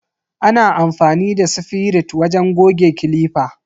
Ana amfani da sifirit wajen goge clipper.